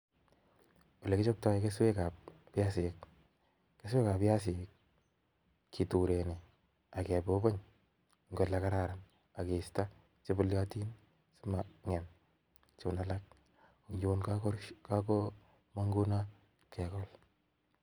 Ele kichoptoo keswekab biasik i,keswekab biasinik keturenii ak kebubuny eng ole kararan ak keisto chenuniotin simangem chun alak, tun komong ngunon kegool